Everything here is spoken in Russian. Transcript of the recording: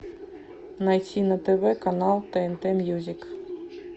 найти на тв канал тнт мьюзик